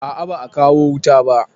A a ba a kawo wuta ba.